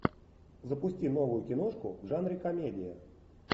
запусти новую киношку в жанре комедия